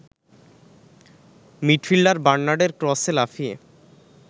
midfielder বার্নার্ডের ক্রসে লাফিয়ে